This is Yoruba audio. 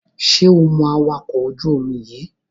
Ṣé o mọ awakọ̀ ojú-omi yíì?